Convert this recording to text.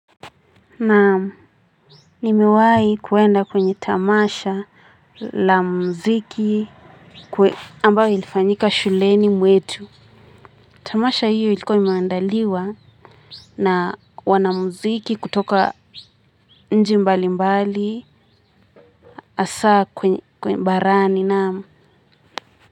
Naam, nimewahi kuenda kwenye tamasha la muziki ambayo ilifanyika shuleni mwetu. Tamasha hiyo ilikuwa imeandaliwa na wanamziki kutoka nchi mbali mbali. Hasa kwenye barani naam.